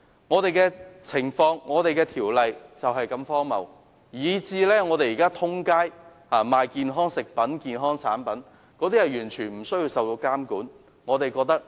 香港的情況及《條例》便是如此荒謬，以致現時市面有售的健康食品和產品完全不受監管。